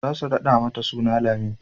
za su raɗa mata suna Lami